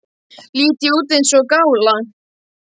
Lít ég út eins og gála?